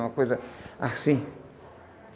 Uma coisa assim.